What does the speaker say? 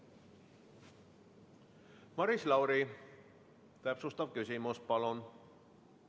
Maris Lauri, täpsustav küsimus, palun!